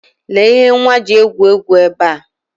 Lee ihe nwa ji egwu egwu ebe a.